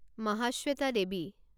Mahasweta Devi